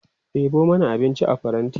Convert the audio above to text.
ɗebo mana abinci a faranti!